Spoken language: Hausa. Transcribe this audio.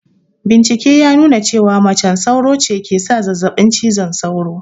Bincike ya nuna cewa macen sauro ce ke sa zazzaɓin cizon sauro